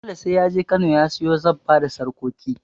Dole sai ya je Kano ya siyo zabba da sarƙoƙi.